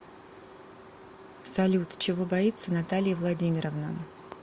салют чего боится наталья владимировна